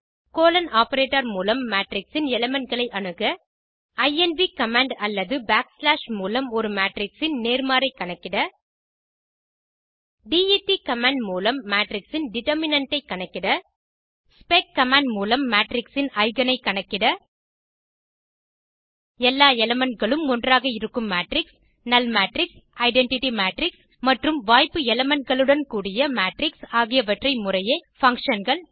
colon operator மூலம் matrix இன் element களை அணுக இன்வ் கமாண்ட் அல்லது பேக்ஸ்லாஷ் மூலம் ஒரு மேட்ரிக்ஸ் ன் நேர்மாறைக் கணக்கிட டெட் commandமூலம் மேட்ரிக்ஸ் ன் டெர்டர்மினன்ட் ஐ கணக்கிட ஸ்பெக் கமாண்ட் மூலம் மேட்ரிக்ஸ் இன் எய்கென் ஐ கணக்கிட எல்லா எலிமெண்ட் களும்ம் ஒன்றாக இருக்கும் matrix null matrix identity matrix மற்றும் வாய்ப்பு elementகளுடன் கூடிய மேட்ரிக்ஸ் ஆகியவற்றை முறையே functionகள்